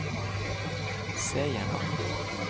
se gjennom